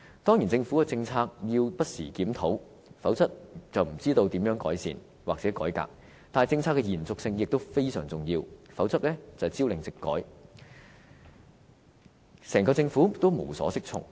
當然，政府的政策要不時檢討，否則便不知道如何改善或改革，但政策的延續性也非常重要，否則朝令夕改，整個政府也無所適從。